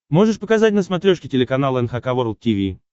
можешь показать на смотрешке телеканал эн эйч кей волд ти ви